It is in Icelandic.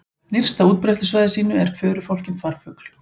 Nyrst á útbreiðslusvæði sínu er förufálkinn farfugl.